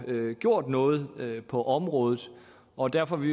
gjort noget på området og derfor vil